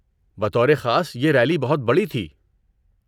بطور خاص یہ ریلی بہت بڑی تھی۔